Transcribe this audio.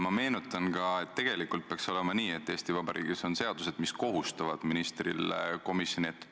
Ma olen kolm aastat talitanud kõige parema teadmise järgi, nii nagu olen mõlema valitsuse juhtimiseks siin Riigikogu ees vande andnud.